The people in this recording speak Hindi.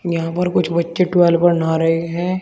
यहां पर कुछ बच्चे ट्यूबवेल पर नहा रहे हैं।